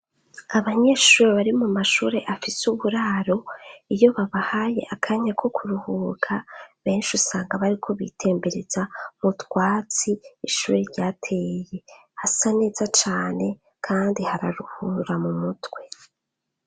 Abanyeshuri bari mu mashure afise uburaro, iyo babahaye akanya ko kuruhuka, benshi usanga bariko bitembereza mu twatsi ishure ryateye. Hasa neza cane kandi hararuhura mu mutwe.